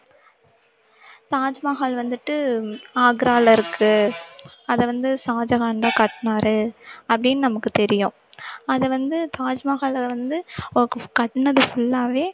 தாஜ்மஹால் வந்துட்டு ஆக்ரால இருக்கு அதை வந்து ஷாஜகான்தான் கட்டுனாரு அப்படின்னு நமக்கு தெரியும் அதை வந்து தாஜ்மஹாலை வந்து கட்டுனது full ஆவே